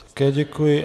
Také děkuji.